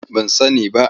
Ban sani ba.